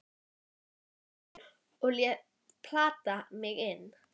un í riffil og læt hann plata mig inn.